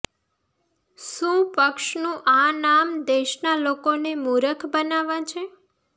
શું પક્ષનું આ નામ દેશના લોકોને મૂરખ બનાવવા છે